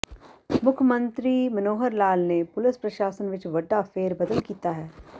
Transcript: ਮੁੱਖ ਮੰਤਰੀ ਮਨੋਹਰ ਲਾਲ ਨੇ ਪੁਲਸ ਪ੍ਰਸ਼ਾਸਨ ਵਿਚ ਵੱਡਾ ਫੇਰਬਦਲ ਕੀਤਾ ਹੈ